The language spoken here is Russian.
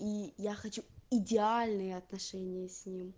и я хочу идеальные отношения с